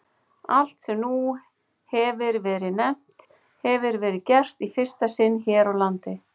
Allt, sem nú hefir verið nefnt, hefir verið gert í fyrsta sinn hér á landi.